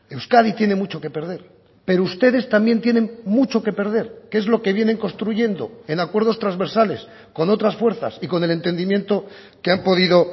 euskadi tiene mucho que perder pero ustedes también tienen mucho que perder que es lo que vienen construyendo en acuerdos transversales con otras fuerzas y con el entendimiento que han podido